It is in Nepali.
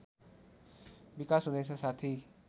विकास हुँदैछ साथै